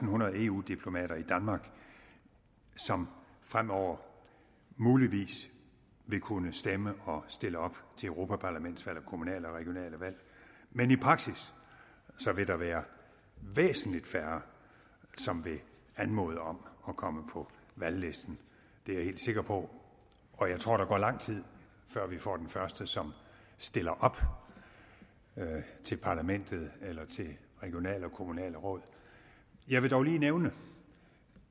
hundrede eu diplomater i danmark som fremover muligvis vil kunne stemme og stille op til europaparlamentsvalg og kommunale og regionale valg men i praksis vil der være væsentlig færre som vil anmode om at komme på valglisten det er jeg helt sikker på og jeg tror der går lang tid før vi får den første som stiller op til parlamentet eller til regionale og kommunale råd jeg vil dog lige nævne